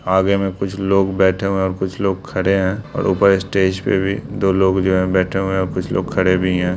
आगे में कुछ लोग बैठे हुए हैं और कुछ लोग खड़े हैं और ऊपर स्टेज पे भी दो लोग जो हैं बैठे हुए हैं और कुछ लोग खड़े भी हैं।